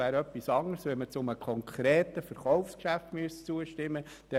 Es wäre etwas anderes, wenn man einem konkreten Verkaufsgeschäft zustimmen müsste.